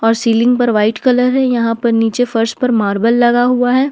और सीलिंग पर white colour है यहां पर नीचे फर्श पर मार्बल लगा हुआ है।